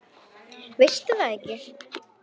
Það veistu er það ekki?